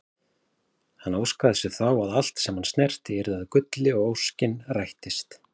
Hann óskaði sér þá að allt sem hann snerti yrði að gulli og rættist óskin.